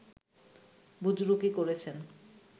বুজরুকি করেছেন